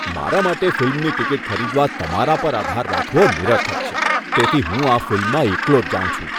મારા માટે ફિલ્મની ટિકિટ ખરીદવા માટે તમારા પર આધાર રાખવો નિરર્થક છે, તેથી હું આ ફિલ્મમાં એકલો જ જાઉં છું.